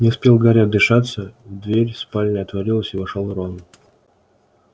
не успел гарри отдышаться дверь спальни отворилась и вошёл рон